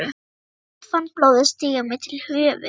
spurði ég og fann blóðið stíga mér til höfuðs.